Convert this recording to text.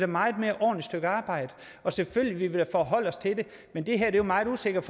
meget mere ordentligt stykke arbejde selvfølgelig vil forholde os til det men det her er jo meget usikkert